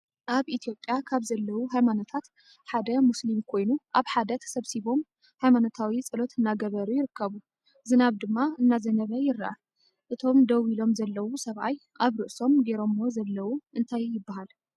ኣብ ኢትዮጵያ ካብ ዘለው ሃይማኖታት ሓደ ሙስሊም ኮይኑ ኣብ ሓደ ተሰብሲቦም ሃይማነታዊ ፀሎት እናገበሩ ይርከቡ ።ዝናብ ድማ እና ዘነበ ይረኣ ። እቶ ደው ኢሎም ዘለው ሰብኣይ ኣብ ርእሶም ገይሮምዋ ዘለው እንታይ ይባሃል?